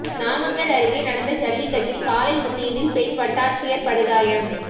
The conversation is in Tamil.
நாமக்கல் அருகே நடந்த ஜல்லிக்கட்டில் காளை முட்டியதில் பெண் வட்டாட்சியர் படுகாயம்